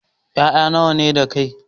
Ƴaƴa nawa ne da kai?